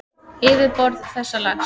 Yfirborð þessa lags